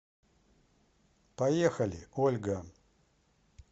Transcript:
поехали ольга